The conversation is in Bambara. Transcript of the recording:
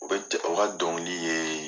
U bɛ o ka dɔnkili ye